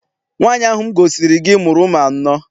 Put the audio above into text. Nwaanyi ahụ m gosiri gị mụrụ ụmụ anọ.